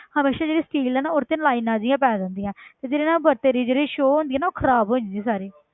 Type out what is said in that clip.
ਹਮੇਸ਼ਾ ਜਿਹੜੀ steel ਹੈ ਨਾ ਉਹਦੇ 'ਚ lines ਜਿਹੀਆਂ ਪੈ ਜਾਂਦੀਆਂ ਹੈ ਤੇ ਜਿਹਦੇ ਨਾਲ ਬਰਤਨ ਦੀ ਜਿਹੜੀ show ਹੁੰਦੀ ਹੈ ਉਹ ਖ਼ਰਾਬ ਹੋ ਜਾਂਦੀ ਹੈ ਸਾਰੀ